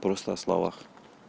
просто о словах